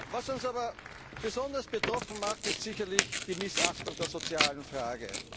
brauchen dieses Budget. Was uns aber besonders betroffen macht, ist die Missachtung